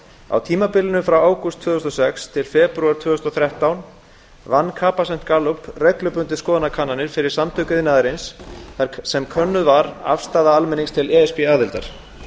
á tímabilinu frá ágúst tvö þúsund og sex til febrúar tvö þúsund og þrettán vann capacent gallup reglubundið skoðanakannanir fyrir samtök iðnaðarins þar sem könnuð var afstaða almennings til e s b aðildar